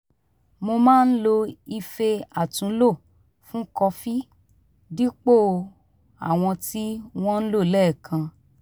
mo máa ń lo ife àtúnlò fún kọfí dípò àwọn tí wọ́n ń lò lẹ́ẹ̀kan